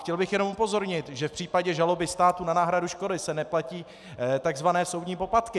Chtěl bych jenom upozornit, že v případě žaloby státu na náhradu škody se neplatí tzv. soudní poplatky.